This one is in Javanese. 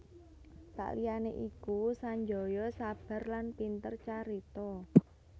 Saliyane iku Sanjaya sabar lan pinter carita